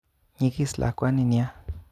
Nyigis lakwani nia